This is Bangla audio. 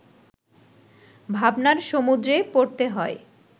ভাবনার সমুদ্রে পড়তে হয়